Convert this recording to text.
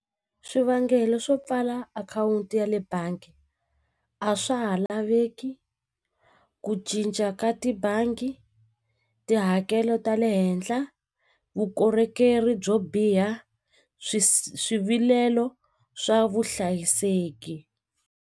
Swivangelo swo pfala akhawunti ya le bangi a swa ha laveki ku cinca ka tibangi tihakelo ta le henhla vukorhokeri byo biha swi swivilelo swa vuhlayiseki.